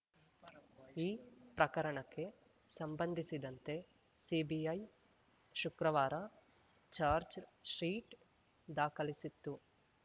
ಈ ಪ್ರಕರಣಕ್ಕೆ ಸಂಬಂಧಿಸಿದಂತೆ ಸಿಬಿಐ ಶುಕ್ರವಾರ ಚಾರ್ಜ್ ಶೀಟ್ ದಾಖಲಿಸಿತ್ತು